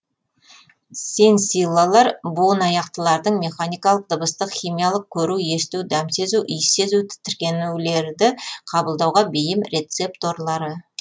сенсиллалар буынаяқтылардың механикалық дыбыстық химиялық көру есту дәм сезу иіс сезу тітіркенулерді қабылдауға бейім рецепторлары